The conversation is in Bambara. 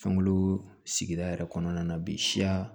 Fɛnkolo sigida yɛrɛ kɔnɔna na bi siya